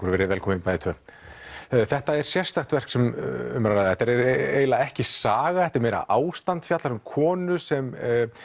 verið velkomin bæði tvö þetta er sérstakt verk sem um er að ræða þetta er eiginlega ekki saga þetta er meira ástand þetta fjallar um konu sem